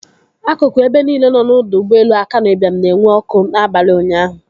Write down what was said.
Akụkụ ebe niile nọ n'ọdọ ụgbọelu Akanu Ibiam na-enwu ọkụ n'abalị ụnyaahụ.